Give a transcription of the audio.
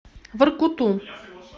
воркуту